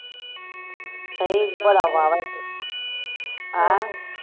ਸਹੀ ਬੜਾ ਵਾਵਾਂ ਫਿਰ ਹੈਂ